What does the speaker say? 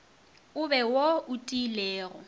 e be wo o tiilego